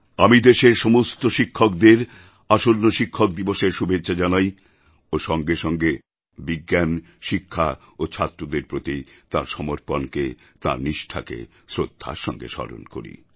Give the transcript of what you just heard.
আমি দেশের সমস্ত শিক্ষকদের আসন্ন শিক্ষক দিবসএর শুভেচ্ছা জানাই ও সঙ্গে সঙ্গে বিজ্ঞান শিক্ষা ও ছাত্রদের প্রতি তাঁর সমর্পণকে তাঁর নিষ্ঠাকে শ্রদ্ধার সঙ্গে স্মরণ করি